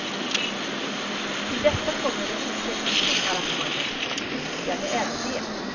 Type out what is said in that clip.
Till detta kommer de olika kringarrangemangen, lyckade även de.